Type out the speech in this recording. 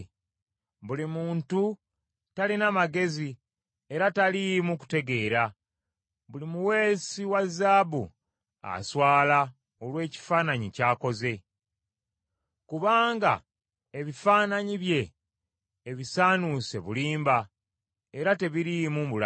Buli muntu talina magezi era taliimu kutegeera; buli muweesi wa zaabu aswala olw’ekifaananyi ky’akoze. Kubanga ebifaananyi bye ebisaanuuse bulimba, era tebiriimu bulamu.